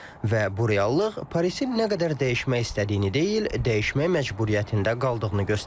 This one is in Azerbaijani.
Və bu reallıq Parisin nə qədər dəyişmək istədiyini deyil, dəyişmək məcburiyyətində qaldığını göstərir.